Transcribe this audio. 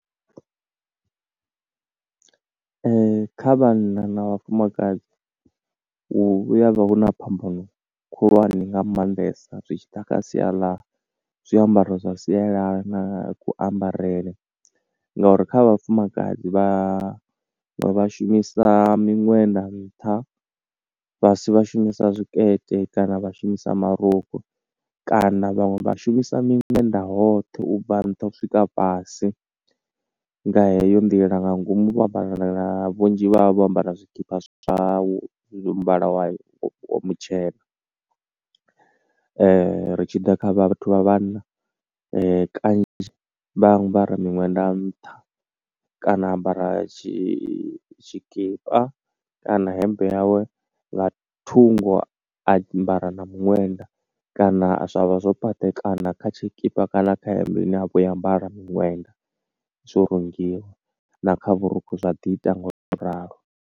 Ee, kha vhanna na vhafumakadzi hu ya vha huna phambano khulwane nga maanḓesa zwi tshi ḓa kha sia ḽa zwiambaro zwa sialala, na kuambarele. No uri kha vhafumakadzi vha vha vha shumisa miṅwenda nṱha, fhasi vhashumisa zwikete kana vha shumisa marukhu. Kana vhaṅwe vha shumisa miṅwenda hoṱhe ubva nṱha swika fhasi, nga heyo nḓila nga ngomu vho ambara na, vhunzhi vha vha vho ambara na zwikipa zwau, zwa muvhala mutshena. Ri tshi ḓa kha vhathu vha vhanna kanzhi vha ambara miṅwenda nṱha, kana a ambara tshikipa, kana hemmbe yawe, nga thungo a ambara na miṅwenda kana zwa vha zwo patekana kha tshikipa kana kha hemmbe ine a vha o i ambara miṅwenda, zwo rungiwa na kha vhurukhu zwa ḓi ita ngo u to ralo.